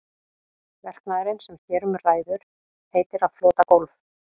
Verknaðurinn sem hér um ræður heitir að flota gólf.